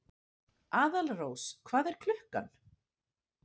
Aðalrós, hvað er klukkan?